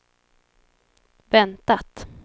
väntat